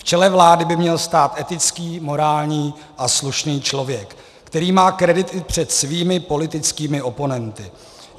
V čele vlády by měl stát etický, morální a slušný člověk, který má kredit i před svými politickými oponenty.